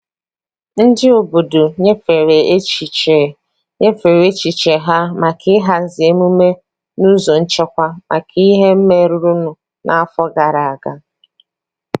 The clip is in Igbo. Ndị obodo nyefere echiche nyefere echiche ha maka ịhazi emume n'ụzọ nchekwa maka ihe merenụ n'afọ gara aga.